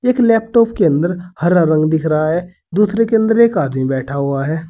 इस लैपटॉप के अंदर हरा रंग दिख रहा है दूसरे के अंदर एक आदमी बैठा हुआ है।